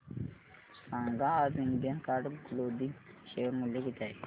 सांगा आज Indian card clothing चे शेअर मूल्य किती आहे